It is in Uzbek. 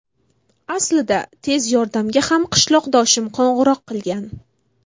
Aslida tez yordamga ham qishloqdoshim qo‘ng‘iroq qilgan.